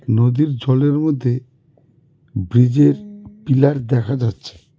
নদীর জলের মধ্যে ব্রীজের পিলার দেখা যাচ্ছে.